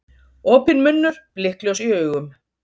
Opinn munnur, blikkljós í augum.